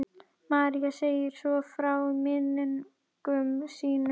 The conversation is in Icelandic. María segir svo frá í minningum sínum: